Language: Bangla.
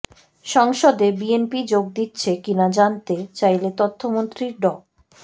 সংসদে বিএনপি যোগ দিচ্ছে কিনা জানতে চাইলে তথ্যমন্ত্রী ড